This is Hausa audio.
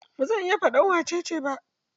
Ba zan iya faɗar wacce ce ba.